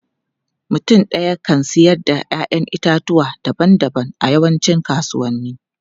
Mutum ɗaya kan siyar da 'ya'yan itatuwa daban-daban a yawancin kasuwanni.